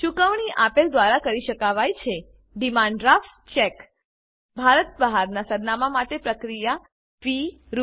ચુકવણી આપેલ દ્વારા કરી શકાવાય છે ડીમાંડ ડ્રાફ્ટ ચેક ભારત બહારનાં સરનામાં માટે પ્રક્રિયા ફી રૂ